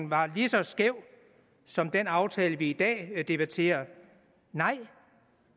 var lige så skæv som den aftale vi i dag debatterer nej